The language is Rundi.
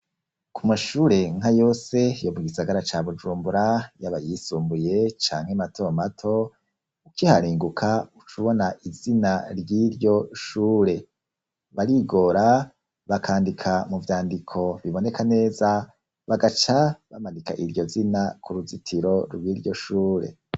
Ku mashure nka yose, yo mu gisagara ca Bujumbura; yaba ayisumbuye, canke mato mato, ukiharenguka, uca ubona izina ry'iryo shure; barigora, bakandika mu vyandiko biboneka neza, bagaca bamanika iryo zina, ku ruzitiro rw'iryo shure.